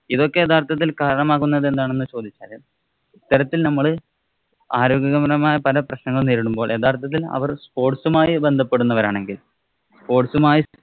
ഇതൊക്കെ യഥാര്‍ത്ഥത്തില്‍ കാരണമാകുന്നത് എന്താണെന്ന് ചോദിച്ചാല്‍ ഇത്തരത്തില്‍ നമ്മള് ആരോഗ്യകരമായ പല പ്രശ്നങ്ങളും നേരിടുമ്പോള്‍ യഥാര്‍ത്ഥത്തില്‍ അവര്‍ sports ഉമായി ബന്ധപ്പെടുന്നവരാണെങ്കില്‍ sport sports ഉമായി